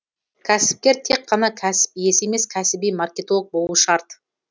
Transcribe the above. кәсіпкер тек қана кәсіп иесі емес кәсіби маркетолог болуы шарт